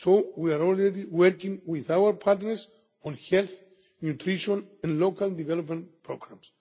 upon. We are already working with our partners on health, nutrition and local development programmes.